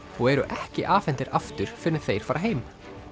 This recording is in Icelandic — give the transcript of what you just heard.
og eru ekki afhentir aftur fyrr en þeir fara heim